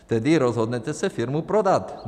Tedy rozhodnete se firmu prodat.